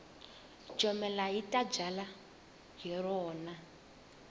jomela hi ka byalwa hi rona